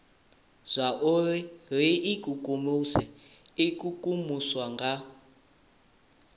zwauri ri ikukumuse ikukumusa nga